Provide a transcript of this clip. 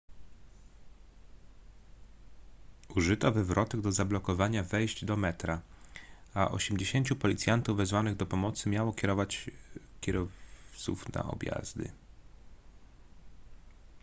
użyto wywrotek do zablokowania wejść do metra a 80 policjantów wezwanych do pomocy miało kierować kierowców na objazdy